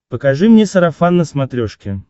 покажи мне сарафан на смотрешке